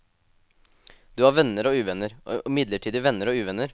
Du har venner og uvenner, og midlertidige venner og uvenner.